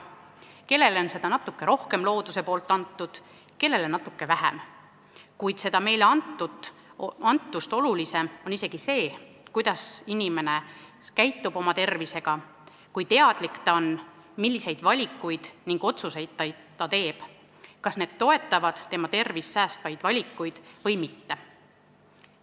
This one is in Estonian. Kellele on seda looduse poolt antud natuke rohkem, kellele natuke vähem, kuid meile antust olulisem on see, kuidas inimene oma tervisega käitub, kui teadlik ta on, milliseid otsuseid ta teeb, kas need toetavad tema tervist säästvaid valikuid või mitte.